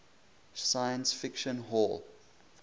science fiction hall